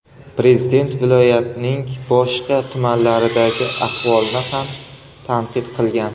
Prezident viloyatning boshqa tumanlaridagi ahvolni ham tanqid qilgan.